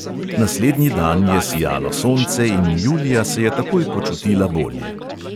Naslednji dan je sijalo sonce in julija se je takoj počutila bolje.